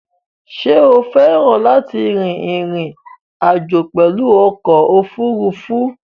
Sé o féràn láti rin ìrìn àjò pèlu okò òfurufú?